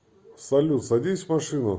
салют садись в машину